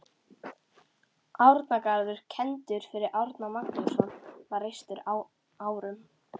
Árnagarður, kenndur við Árna Magnússon, var reistur á árunum